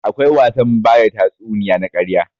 Akwai wasan bada tatsuniya na ƙarya.